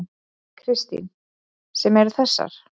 Kristín: Sem eru þessar?